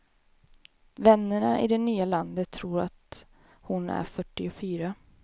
Vännerna i det nya landet tror att hon är fyrtiofyra.